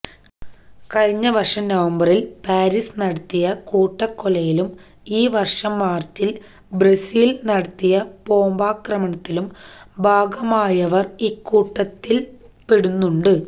കഴിഞ്ഞ വര്ഷം നവംബറില് പാരീസില് നടത്തിയ കൂട്ടക്കൊലയിലും ഈ വര്ഷം മാര്ച്ചില് ബ്രസല്സില് നടത്തിയ ബോംബാക്രമണത്തിലും ഭാഗഭാക്കായവര് ഇക്കൂട്ടത്തില് പെടുന്നുണ്ട്